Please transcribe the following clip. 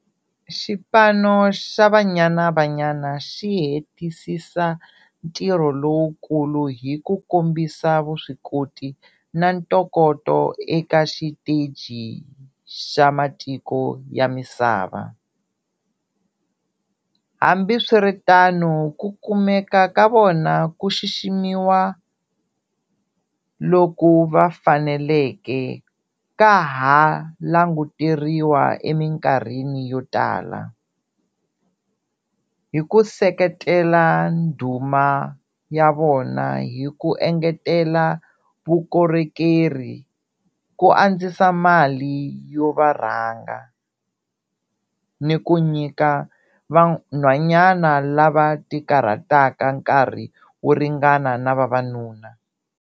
Xipano xa Banyana Banyana xi hetisisa ntirho lowukulu hi ku kombisa vuswikoti na ntokoto eka xiteji xa matiko ya misava, hambiswiritano ku kumeka ka vona ku xiximiwa loku va faneleke ka ha languteriwa eminkarhini yo tala. Hi ku seketela ndhuma ya vona hi ku engetela vukorhekeri ku andzisa mali yo va rhanga, ni ku nyika vanhwanyana lava tikarhataka nkarhi wo ringana na vavanuna.